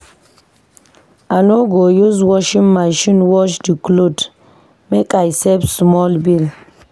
I no go use washing machine wash di cloth, make I save small bill.